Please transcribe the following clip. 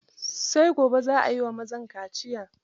Sai gobe za a yi wa mazan kaciyar.